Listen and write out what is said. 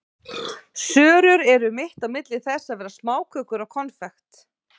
Sörur eru mitt á milli þess að vera smákökur og konfekt.